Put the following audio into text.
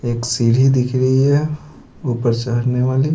एक सीढ़ी दिख रही है ऊपर चहरने वाली--